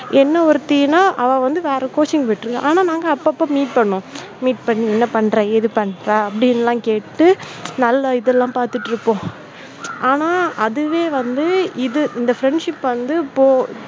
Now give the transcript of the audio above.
என்ன ஒருத்தி நா அவ வந்து வேற coaching போயிட்டு இருக்கு, ஆனா நாங்க அப்பப்ப meet பண்ணுவோம் meet பண்ணி என்ன பண்ற ஏது பண்ற அப்படியெல்லாம் கேட்டு நல்ல இதெல்லாம் பார்த்துட்டு இருப்போம். ஆனா, அதுவே வந்து இது இந்த friendship வந்து போ